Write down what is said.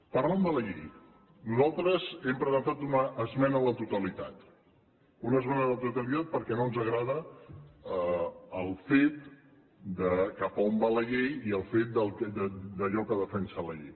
parlant de la llei nosaltres hem presentat una esmena a la totalitat una esmena a la totalitat perquè no ens agrada el fet de cap a on va la llei i el fet allò que defensa la llei